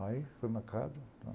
Aí foi marcado.